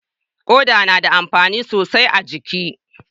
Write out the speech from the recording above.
Koda na da amfani sosai a jiki